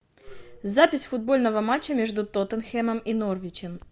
запись футбольного матча между тоттенхэмом и норвичем